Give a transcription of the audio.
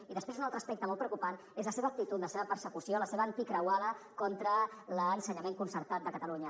i després un altre aspecte molt preocupant és la seva actitud la seva persecució la seva croada contra l’ensenyament concertat de catalunya